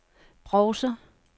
browser